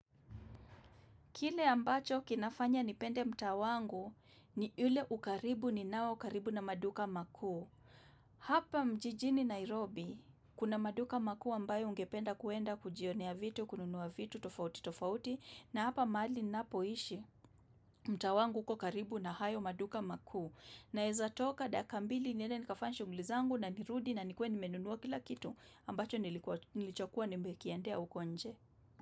Kile ambacho kinafanya nipende mtaa wangu ni ule ukaribu ninao ukaribu na maduka maku. Hapa jijini Nairobi kuna maduka makuu ambayo ungependa kuenda kujionea vitu, kununuwa vitu, tofauti, tofauti. Na hapa mahali napoishi mtaa wangu uko karibu na hayo maduka maku. Naeza toka daka mbili nile nikafanye shunguli zangu na nirudi na nikuwe nimenunuwa kila kitu ambacho nilichokuwa nimbe kiendea ukonje.